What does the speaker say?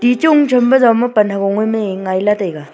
tichun them pe joma pan ha gog a mai ngai la taiga.